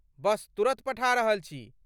बस तुरत पठा रहल छी!